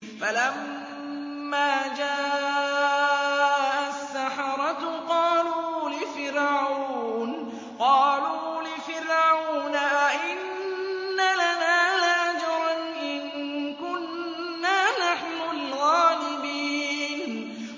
فَلَمَّا جَاءَ السَّحَرَةُ قَالُوا لِفِرْعَوْنَ أَئِنَّ لَنَا لَأَجْرًا إِن كُنَّا نَحْنُ الْغَالِبِينَ